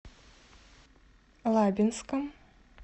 лабинском